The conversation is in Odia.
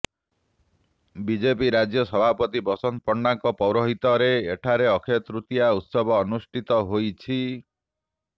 ବିଜେପି ରାଜ୍ୟ ସଭାପତି ବସନ୍ତ ପଣ୍ଡାଙ୍କ ପୌରହିତ୍ୟରେ ଏଠାରେ ଅକ୍ଷୟ ତୃତୀୟା ଉତ୍ସବ ଅନୁଷ୍ଠିତ ହୋଇଛି